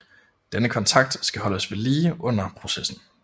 Denne kontakt skal holdes ved lige under processen